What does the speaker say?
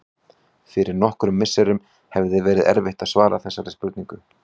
Fyrir nokkrum misserum hefði verið erfitt að svara þessari spurningu.